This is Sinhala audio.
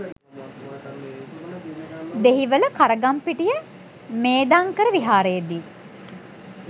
දෙහිවල කරගම්පිටිය මේධංකර විහාරයේදී